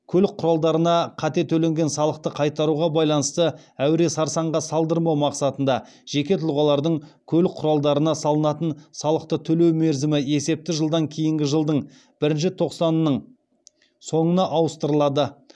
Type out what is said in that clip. көлік құралдарына қате төленген салықты қайтаруға байланысты әуре сарсаңға салдырмау мақсатында жеке тұлғалардың көлік құралдарына салынатын салықты төлеу мерзімі есепті жылдан кейінгі жылдың бірінші тоқсанның соңына ауыстырылады